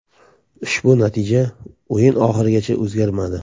Ushbu natija o‘yin oxirigacha o‘zgarmadi.